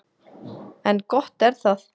En gott er það.